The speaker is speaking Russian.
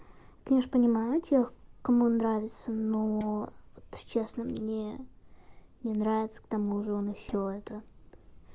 конечно понимаю тех кому нравится но вот честно мне не нравится к тому же он ещё это